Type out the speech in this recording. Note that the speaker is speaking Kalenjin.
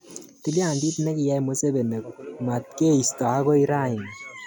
Tiliandit nekiyay Museveni matkeisto akoi rani.